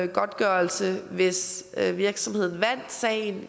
godtgørelse hvis virksomheden vandt sagen